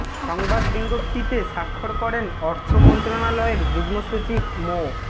সংবাদ বিজ্ঞপ্তিতে স্বাক্ষর করেন অর্থ মন্ত্রণালয়ের যুগ্ম সচিব মো